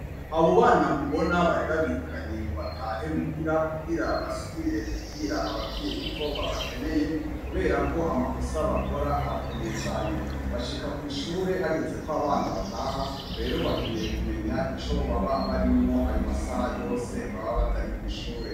Abo bana mubona bari babirukanye ngo batahe muhira, kubwira basubire kubwira ababyeyi ko babakeneye kubera ko amakosa bakora arakomeye cane .Bashika kw'ishure hageze ko abana bataha rero bakeneye kumenya ico baba bari mww'ayo masaha yose baba batari kw'ishure.